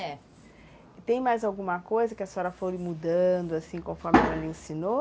É. Tem mais alguma coisa que a senhora foi mudando, assim, conforme ela lhe ensinou?